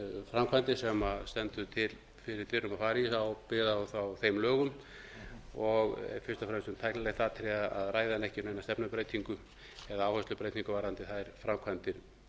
framkvæmdir sem stendur fyrir dyrum að fara í byggðar á þeim lögum og er fyrst og fremst um tæknilegt atriði að ræða en ekki neina stefnubreytingu eða áherslubreytingu varðandi þær framkvæmdir